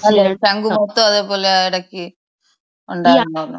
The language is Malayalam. ശംഖ് മുഖത്തും അതെ പോലെ എടക്ക് ഉണ്ടായിരുന്നെന്ന്.